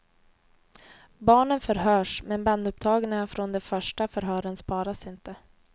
Barnen förhörs, men bandupptagningarna från de första förhören sparas inte.